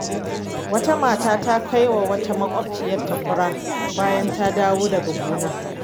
Wata mata ta kai wa wata makwabciyarta fura bayan ta dawo daga gona.